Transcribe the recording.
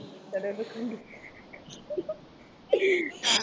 தொடர்பு கொண்டு